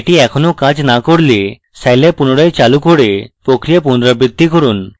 এটি এখনও কাজ না করলে scilab পুনরায় চালু করে প্রক্রিয়া পুনরাবৃত্তি করুন